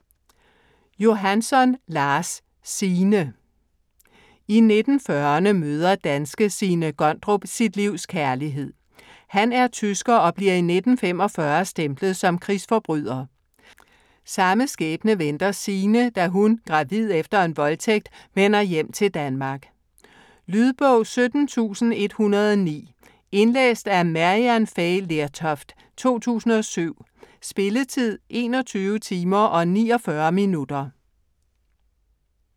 Johansson, Lars: Signe I 1940'erne møder danske Signe Gondrup sit livs kærlighed. Han er tysker og bliver i 1945 stemplet som krigsforbryder. Samme skæbne venter Signe, da hun - gravid efter en voldtægt - vender hjem til Danmark. Lydbog 17109 Indlæst af Maryann Fay Lertoft, 2007. Spilletid: 21 timer, 49 minutter.